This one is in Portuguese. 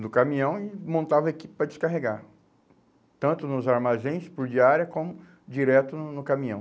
do caminhão e montava a equipe para descarregar, tanto nos armazéns por diária como direto no no caminhão.